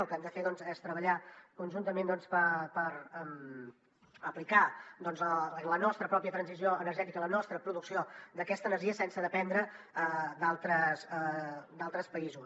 el que hem de fer és treballar conjuntament per aplicar la nostra pròpia transició energètica la nostra producció d’aquesta energia sense dependre d’altres països